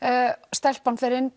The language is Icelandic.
stelpan fer inn